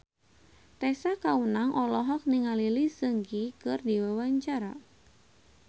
Tessa Kaunang olohok ningali Lee Seung Gi keur diwawancara